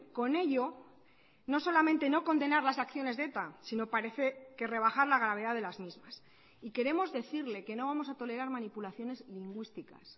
con ello no solamente no condenar las acciones de eta sino parece que rebajar la gravedad de las mismas y queremos decirle que no vamos a tolerar manipulaciones lingüísticas